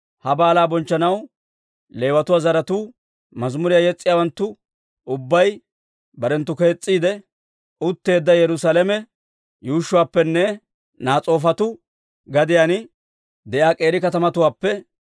Ha baalaa bonchchanaw Leewatuwaa zaratuu, mazimuriyaa yes's'iyaawanttu ubbay barenttu kees's'iide utteedda Yerusaalame yuushshuwaappenne Nas'oofatu gadiyaan de'iyaa k'eeri katamatuwaappe,